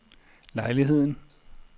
lejligheden